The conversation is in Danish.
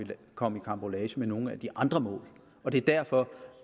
komme i karambolage med nogle af de andre mål det er derfor